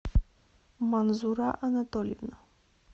манзура анатольевна